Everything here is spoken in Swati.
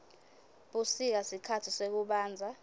busika sikhatsi sekubandza